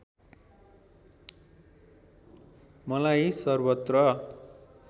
मलाई सर्वत्र